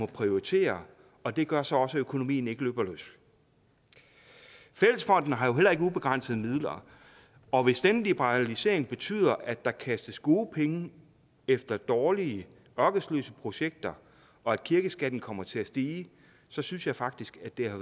prioritere og det gør så også at økonomien ikke løber løbsk fællesfonden har jo heller ikke ubegrænsede midler og hvis denne liberalisering betyder at der kastes gode penge efter dårlige ørkesløse projekter og at kirkeskatten kommer til at stige så synes jeg faktisk at det har